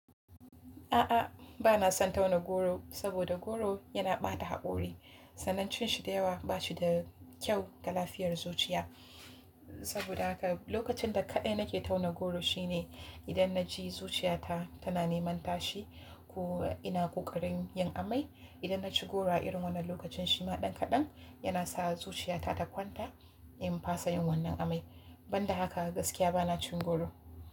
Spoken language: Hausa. A'a, ba na son tauna goro saboda goro yana ɓata haƙori. Sanancin shi da yawa ba shi da kyau ga lafiyar zuciya. Saboda haka lokacin da kaɗai nake tauna goro shine idan na ji zuciya ta tana neman tashi ko ina ƙoƙarin yin amai. Idan na ci goro a irin wannan lokacin shi ma ɗan kaɗan yana sa zuciya ta ta kwanta in fasa yin wannan amai. Ban da haka gaskiya ba na cin goro.